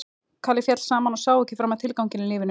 Kalli féll saman og sá ekki framar tilganginn í lífinu.